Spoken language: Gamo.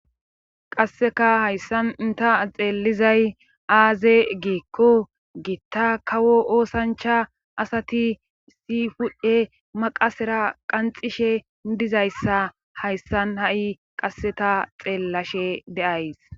qasseka hayssan ta xeelizay aaze giikko giitta kawo oosancha asati issi hu7e maqasera qanxishe dizayssa hayssan ha7i qasseta xeellashe de7ays.